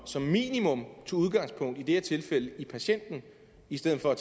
som minimum tog udgangspunkt i i det her tilfælde patienten i stedet for at